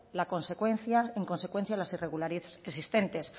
en consecuencia las irregularidades existentes